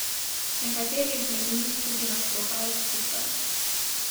Nekateri izmed njih tudi nastopajo skupaj.